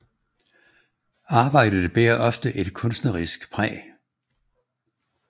Arbejdet bærer ofte et kunstnerisk præg